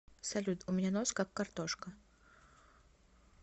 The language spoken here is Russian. салют у меня нос как картошка